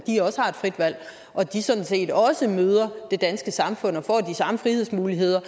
frit valg og at de sådan set også møder det danske samfund og får de samme frihedsmuligheder